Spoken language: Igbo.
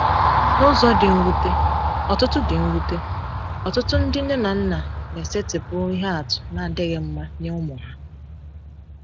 N’ụzọ dị mwute, ọtụtụ dị mwute, ọtụtụ ndị nne na nna na-esetịpụ ihe atụ na-adịghị mma nye ụmụ ha.